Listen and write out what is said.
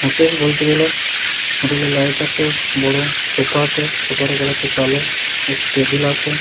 Hotel বলতে গেলে hotel -এ লাইট আছে বড় সোফা আছে সোফা কালার -টি কালো একটি টেবিল আছে।